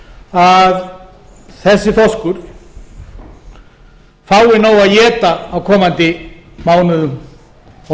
að þessi þorskur fái nóg að éta á komandi mánuðum og